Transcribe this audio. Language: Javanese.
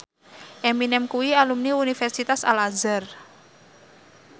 Eminem kuwi alumni Universitas Al Azhar